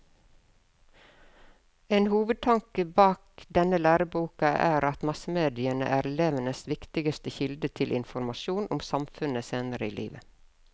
En hovedtanke bak denne læreboka er at massemediene er elevenes viktigste kilde til informasjon om samfunnet senere i livet.